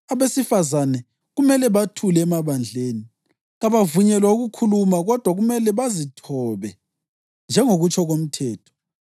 Abesifazane kumele bathule emabandleni. Kabavunyelwa ukukhuluma kodwa kumele bazithobe njengokutsho komthetho.